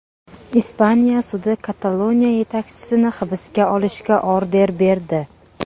Ispaniya sudi Kataloniya yetakchisini hibsga olishga order berdi.